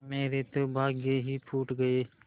मेरे तो भाग्य ही फूट गये